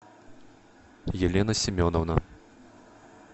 елена семеновна